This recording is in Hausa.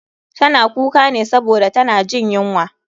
Tana kuka ne saboda tana jin yunwa.